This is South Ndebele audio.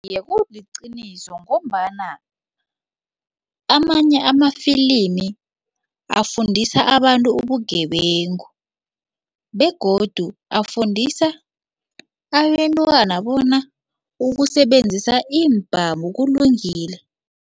Iye, kuliqiniso ngombana amanye amafilimi afundisa abantu ubugebengu begodu afundisa abentwana bona ukusebenzisa iimbhamu kulungile.